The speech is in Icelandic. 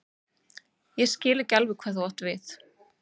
Ég skil ekki alveg hvað þú átt við.